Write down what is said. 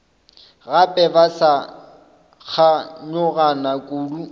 gape ba sa kganyogana kudu